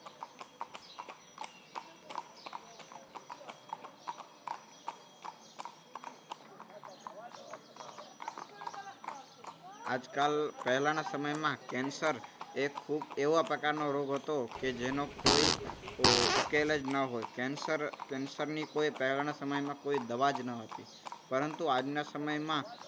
આજકાલ પહેલાના સમયમાં કેન્સર એ ખૂબ એવા પ્રકારનો રોગ હતો. કે જેનો કોઈ ઉકેલ જ ન હોય કેન્સર કેન્સરની કોઈ પહેલાના સમયમાં કોઈ દવા જ ન હતી. પરંતુ આજના સમયમાં